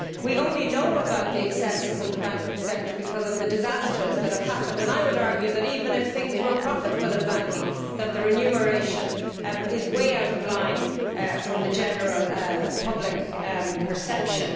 We only know about the excesses of the banking sector because of the disasters that have happened. I would argue that, even if things were profitable in banking, the remuneration is way out of line from the general public perception.